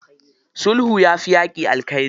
Sulhu yafi yaƙi alkhairi.